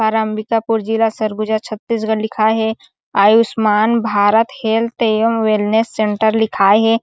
अम्बाकीपुर जिला सरगुजा छतीसगढ़ लिखाए हे आयुष्मान भारत हेल्थ एवं इलनेस सेण्टर लिखाए हे।